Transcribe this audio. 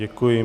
Děkuji.